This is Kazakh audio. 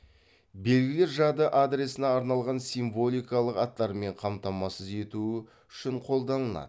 белгілер жады адресіне арналған символикалық аттармен қамтамасыз етуі үшін қолданылады